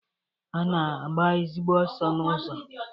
Ọ na-agba ezigbo ọsọ n'ụzọ.